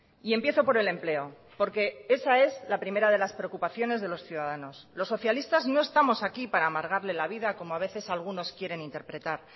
y empiezo por el empleo porque esa es la primera de las preocupaciones de los ciudadanos los socialistas no estamos aquí para amargarle la vida como a veces algunos quieren interpretar